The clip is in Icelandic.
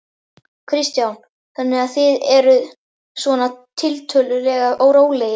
Kristján: Þannig að þið eruð svona tiltölulega rólegir?